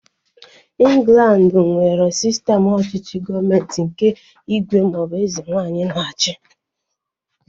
Ịnglandi nwere sistem ọchịchị gọọmenti nke ígwè ma ọ bụ eze nwaanyị na-achi